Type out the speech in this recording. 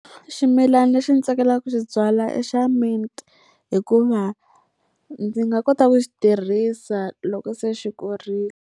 Ximilana lexi ndzi tsakelaka ku xi byala i xa mint. Hikuva ndzi nga kota ku xi tirhisa loko se xi kurile.